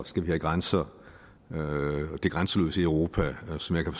skal have grænser og det grænseløse europa som jeg kan